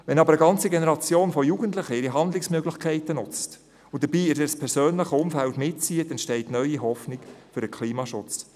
Wenn aber eine ganze Generation von Jugendlichen ihre Handlungsmöglichkeiten nutzt und dabei ihr persönliches Umfeld mitzieht, entsteht neue Hoffnung für den Klimaschutz.